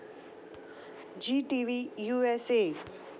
Zee TV U S A